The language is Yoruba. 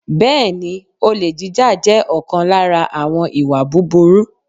Bẹ́ẹ̀ni, olè jíjà jẹ́ ọ̀kan lára àwọn ìwà búburú.